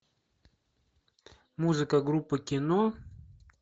музыка группы кино